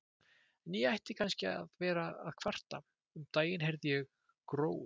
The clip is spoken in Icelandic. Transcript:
En ég ætti kannski ekki að vera að kvarta, um daginn heyrði ég Gróu